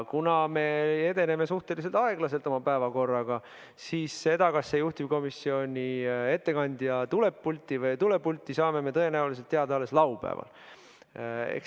Kuna me edeneme suhteliselt aeglaselt oma päevakorraga, siis seda, kas juhtivkomisjoni ettekandja tuleb pulti või ei tule pulti, saame tõenäoliselt teada alles laupäeval.